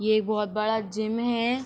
ये एक बहुत बड़ा जिम है।